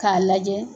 K'a lajɛ